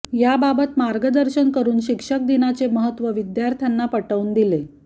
याबाबत मार्गदर्शन करून शिक्षक दिनाचे महत्त्व विद्यार्थ्यांना पटवून दिले